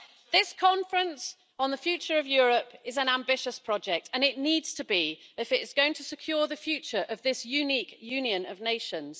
This conference on the future of Europe is an ambitious project, and it needs to be if it is going to secure the future of this unique union of nations.